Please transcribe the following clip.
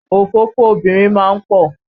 Òfófó obìnrin ma ń pọ̀.